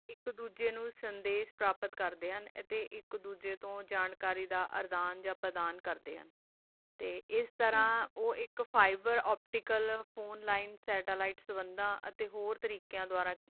ਏਕ ਦੋਜਾ ਨੂ ਸੰਦਾਸ਼ ਪ੍ਰੋਪੇਰ ਕਰਦਾ ਆ ਤਾ ਏਕ ਦੋਜਾ ਨਾਲ ਤਾ ਆਸ ਤਾਰਾ ਓਹੋ ਏਕ fiver optical phone line satellite ਤਾ ਫੰਦਾ ਤਾ ਓਹੋ ਤਰਕ ਨਾਲ